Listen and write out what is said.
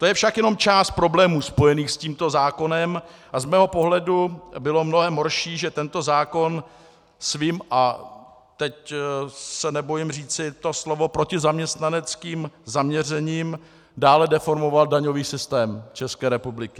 To je však jenom část problémů spojených s tímto zákonem a z mého pohledu bylo mnohem horší, že tento zákon svým - a teď se nebojím říci to slovo - protizaměstnaneckým zaměřením dále deformoval daňový systém České republiky.